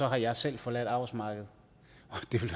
har jeg selv forladt arbejdsmarkedet